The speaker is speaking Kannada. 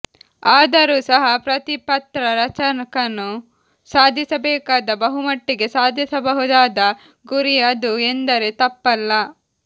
ಆದರೂ ಸಹ ಪ್ರತಿ ಪತ್ರ ರಚಕನು ಸಾಧಿಸಬೇಕಾದ ಬಹುಮಟ್ಟಿಗೆ ಸಾಧಿಸಬಹುದಾದ ಗುರಿ ಅದು ಎಂದರೆ ತಪ್ಪಲ್ಲ